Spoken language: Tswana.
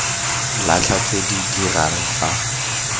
latlha tse di dirang fa